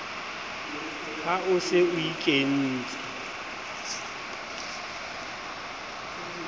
ha o se o ikentse